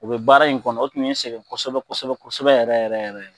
U be baara in kɔnɔ o tun ye kosɛgɛn kosɛbɛ kosɛbɛ yɛrɛ yɛrɛ